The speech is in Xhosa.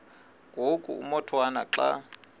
ngoku umotwana xa